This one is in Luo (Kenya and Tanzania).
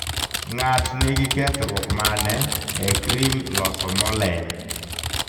ngat nigi kethruok mane e kream loso mo leny